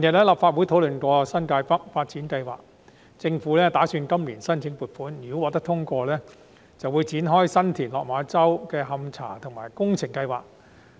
立法會近日曾討論新界北發展計劃，政府亦打算今年申請撥款，如果撥款申請獲得通過，便會展開新田/落馬洲發展樞紐的勘查研究及工程設計。